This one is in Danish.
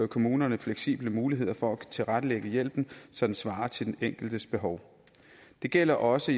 kommunerne fleksible muligheder for at tilrettelægge hjælpen så den svarer til den enkeltes behov det gælder også